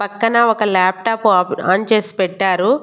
పక్కన ఒక లాప్టాప్ ఆపు ఆన్ చేసి పెట్టారు.